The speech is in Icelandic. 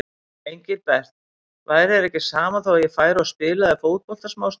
Engilbert, væri þér ekki sama þó ég færi og spilaði fótbolta smástund.